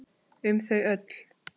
Um þau öll.